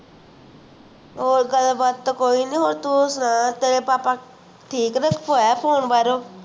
ਹੋਰ ਗੱਲ ਬਾਤ ਤਾ ਕੋਈ ਨੀ ਤੂੰ ਸੁਣਾ ਤੇਰੇ papa ਠੀਕ ਨੇ ਆਇਆ phone ਭਾਰੋ